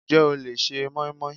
Ǹjẹ́ o le se moinmoin?